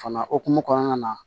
Fana hokumu kɔnɔna na